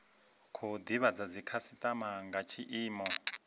khou divhadza dzikhasitama nga tshiimo